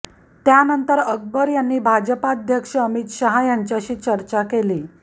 त्यानंतर अकबर यांनी भाजपाध्यक्ष अमित शहा यांच्याशी चर्चा केली